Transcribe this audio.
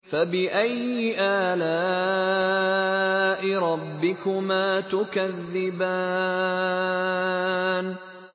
فَبِأَيِّ آلَاءِ رَبِّكُمَا تُكَذِّبَانِ